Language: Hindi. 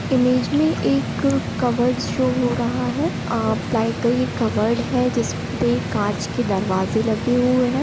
इमेज में एक कवर्ड शो हो रहा है अ प्लाइ का ये कवर्ड है जिस पे कांच के दरवाजे लगे हुए हैं ।